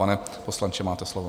Pane poslanče, máte slovo.